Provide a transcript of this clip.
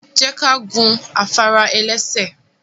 Je ka gun afara-elese